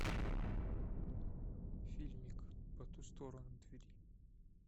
фильмик по ту сторону двери